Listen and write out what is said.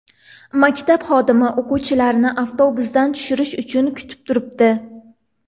Maktab xodimi o‘quvchilarni avtobusdan tushirish uchun kutib turibdi.